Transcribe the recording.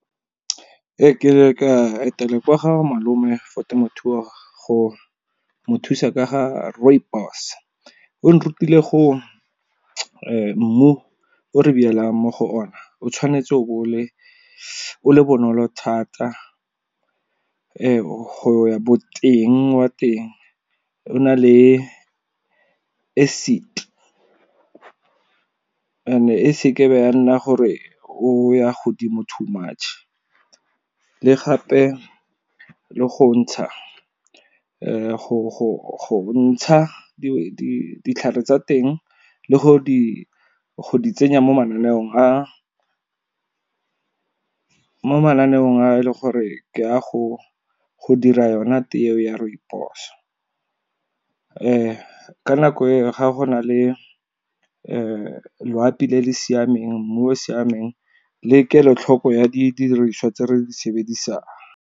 Ke ne ka etela kwa ga malome for temothuo, go mothusa ka ga rooibos, o nrutile go mmu o re mo go o na o tshwanetse o bo o le bonolo thata. Go ya boteng wa teng o na le acid and e seke be ya nna gore o ya godimo too much, le gape le go ntsha ditlhare tsa teng le go di tsenya mo mananeong a e leng gore ke a go dira yona tee ya rooibos. Ka nako e ga go na le loapi le le siameng mmu o o siameng le kelotlhoko ya didiriswa tse re di sebedisang.